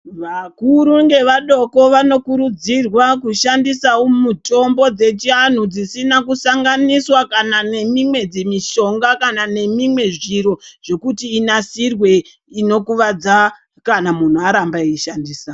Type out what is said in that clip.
Vakuru ngevadoko vanokurudzirwa kushandisawo mutombo dzechianhu dzisina kusanganiswa kana nemimwe dzimushonga kana nemimwe zviro zvekuti inasirwe inokuvadza kana munhu aramba eiishandisa .